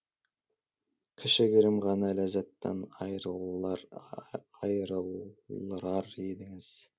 кішігірім ғана ләззаттан айырылырар едіңіз